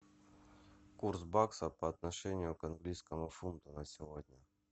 курс бакса по отношению к английскому фунту на сегодня